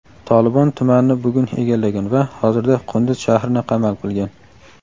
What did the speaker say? "Tolibon" tumanni bugun egallagan va hozirda Qunduz shahrini qamal qilgan.